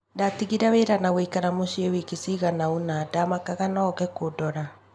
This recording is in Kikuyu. Ndatigire wĩra na guikara mucii wikii cigana ona, ndamakaga nooke kũndora.